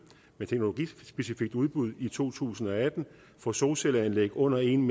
med et teknologispecifikt udbud i to tusind og atten for solcelleanlæg under en